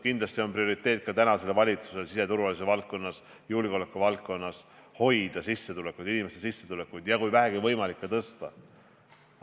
Kindlasti on ka praeguse valitsuse prioriteet siseturvalisuse valdkonnas, julgeolekuvaldkonnas inimeste sissetulekuid hoida ja kui vähegi võimalik, neid tõsta.